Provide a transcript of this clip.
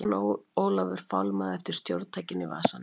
Jón Ólafur fálmaði eftir stjórntækinu í vasanum sínum.